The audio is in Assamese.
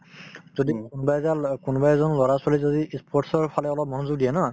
যদি কোনোবা অ কোনোবা এজন লৰা-ছোৱালী যদি ই sports ৰ ফালে অলপ মনযোগ দিয়ে ন